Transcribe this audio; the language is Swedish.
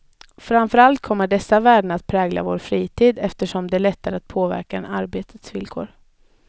Framför allt kommer dessa värden att prägla vår fritid, eftersom den är lättare att påverka än arbetets villkor.